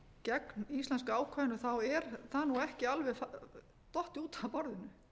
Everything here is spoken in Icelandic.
gegn íslenska ákvæðinu þá er það ekki alveg dottið út af borðinu